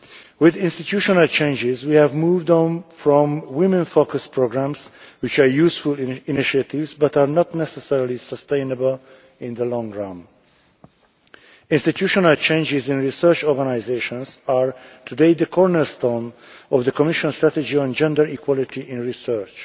With institutional changes we have moved on from women focused programmes, which are useful initiatives but are not necessarily sustainable in the long run. Institutional changes in research organisations are today the cornerstone of the Commission's strategy on gender equality in research.